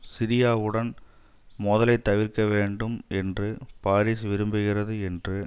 சிரியாவுடன் மோதலை தவிர்க்க வேண்டும் என்று பாரிஸ் விரும்புகிறது என்று